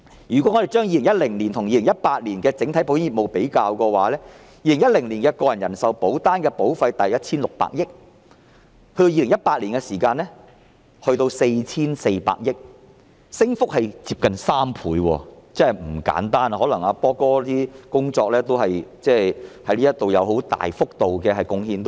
如果我們將2010年與2018年的整體保險業務作比較 ，2010 年個人人壽保單的保費大約是 1,600 億元，而2018年則達到 4,400 億元，升幅接近3倍，真的不簡單，可能"波哥"在這方面作出很大的貢獻。